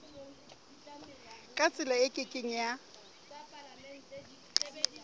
ka tsela e ke keng